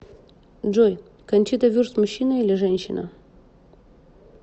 джой кончита вюрст мужчина или женщина